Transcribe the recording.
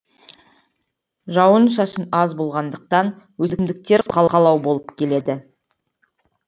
жауын шашын аз болғандықтан өсімдіктер болып келеді